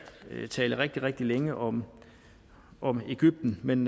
tale rigtig rigtig længe om om egypten men